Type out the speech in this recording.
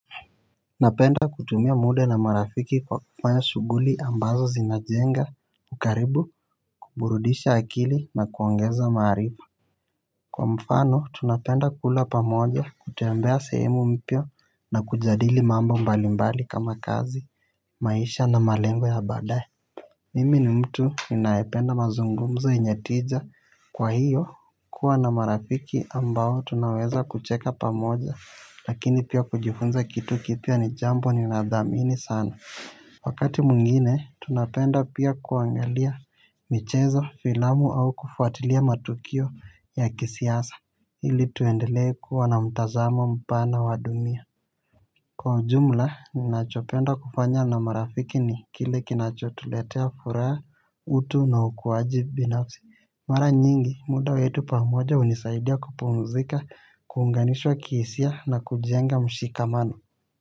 Napenda kutumia muda na marafiki kwa kufanya shughuli ambazo zinajenga ukaribu kuburudisha akili na kuongeza maarifa. Kwa mfano tunapenda kula pamoja kutembea sehemu mpya na kujadili mambo mbali mbali kama kazi maisha na malengo ya badae. Mimi ni mtu ninayependa mazungumzo yenye tija kwa hiyo kuwa na marafiki ambao tunaweza kucheka pamoja lakini pia kujifunza kitu kipya ni jambo ni nadhamini sana. Wakati mwingine tunapenda pia kuangalia michezo filamu au kufuatilia matukio ya kisiasa ili tuendele kuwa na mtazamo mpana wa dunia. Kwa ujumla, ninachopenda kufanya na marafiki ni kile kinachotuletea furaa, utu na ukuwaji binafsi. Mara nyingi, muda wetu pamoja hunisaidia kupumzika, kuunganisha kihisia na kujenga mshikamano.